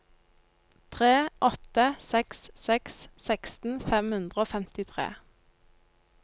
tre åtte seks seks seksten fem hundre og femtitre